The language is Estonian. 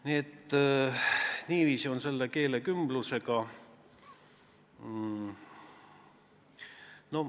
Nii et niiviisi on selle keelekümblusega.